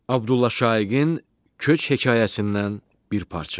Abdulla Şaiqin Köç hekayəsindən bir parça.